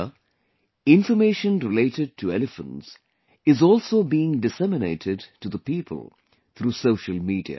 Here, information related to elephants is also being disseminated to the people through social media